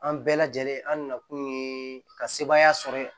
An bɛɛ lajɛlen an nakun ye ka sebaaya sɔrɔ yen